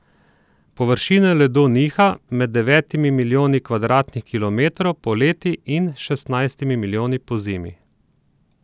Površina ledu niha med devetimi milijoni kvadratnih kilometrov poleti in šestnajstimi milijoni pozimi.